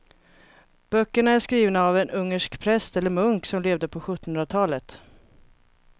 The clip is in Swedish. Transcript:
Böckerna är skrivna av en ungersk präst eller munk som levde på sjuttonhundratalet.